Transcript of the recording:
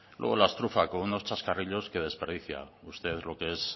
luego las trufa con unos chascarrillos que desperdicia usted lo que es